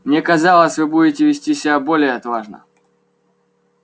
мне казалось вы будете вести себя более отважно